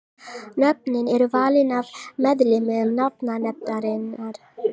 Nöfnin eru valin af meðlimum nafnanefndarinnar.